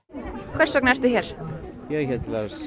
hvers vegna ertu hér ég